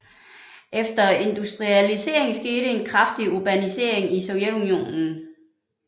Efter industrialiseringen skete en kraftig urbanisering i Sovjetunionen